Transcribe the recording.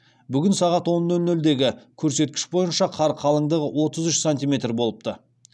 бүгін сағат он нөл нөлдегі көрсеткіш бойынша қар қалыңдығы отыз үш сантиметр болыпты